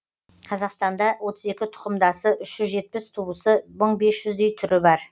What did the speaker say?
қазақстанда отыз екі тұқымдасы үш жүз жетпіс туысы мың бес жүздей түрі бар